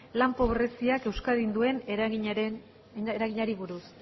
lan pobreziak euskadin duen eraginari buruz